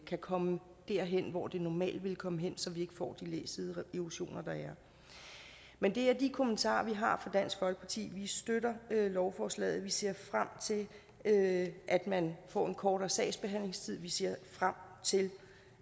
kan komme derhen hvor det normalt ville komme hen så vi ikke får de læsideerosioner der er men det er de kommentarer vi har fra dansk folkepartis side vi støtter lovforslaget vi ser frem til at at man får en kortere sagsbehandlingstid vi ser frem til